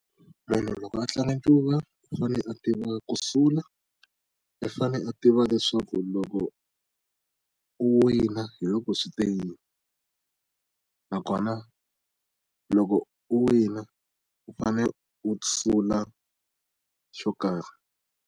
Munhu loko a tlanga ncuva u fanele a tiva ku sula i fane a tiva leswaku loko u wina hi loko swi te yini na kona loko u wina u fane u sula xo karhi.